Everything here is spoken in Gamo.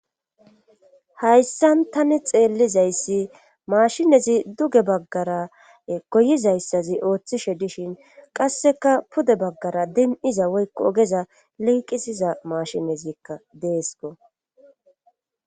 hayssan tani xeellizayssi maashinezi duge baggara goyizayssazi ooththishe dishin qasseka pude baggara din7iza woykko ogeza liiqisiza mashinezikka deesko